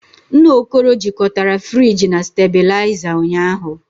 Nna Okoro jikọtara friji na stabilizer ụnyahụ